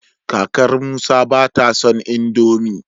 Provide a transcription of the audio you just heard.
kakar Musa bata son indomie